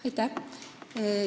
Aitäh!